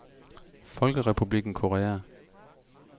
Folkerepublikken Korea